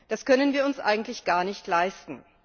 Das können wir uns eigentlich gar nicht leisten.